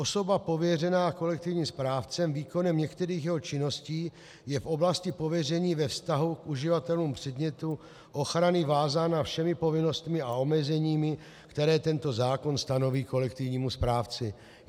Osoba pověřená kolektivním správcem výkonem některých jeho činností je v oblasti pověření ve vztahu k uživatelům předmětu ochrany vázána všemi povinnostmi a omezeními, které tento zákon stanoví kolektivnímu správci."